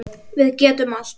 Við getum allt.